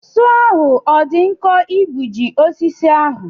Sọọ ahụ ọ dị nkọ igbuji osisi ahụ.